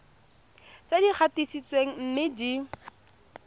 tse di gatisitsweng mme di